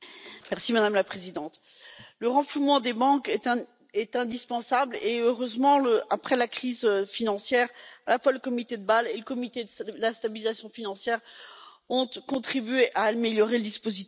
Madame la Présidente, le renflouement des banques est indispensable et, heureusement, après la crise financière, le comité de Bâle et le comité de la stabilisation financière ont contribué à améliorer le dispositif.